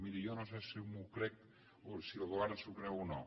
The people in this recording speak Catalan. miri jo no sé si m’ho crec o si el govern s’ho creu o no